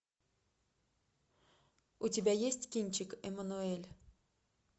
у тебя есть кинчик эммануэль